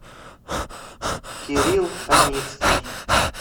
кирилл аницкий